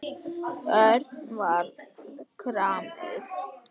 Örn varð gramur.